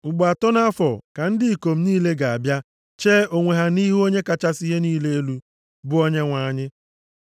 “Ugbo atọ nʼafọ ka ndị ikom niile ga-abịa chee onwe ha nʼihu Onye kachasị ihe niile elu, bụ Onyenwe anyị.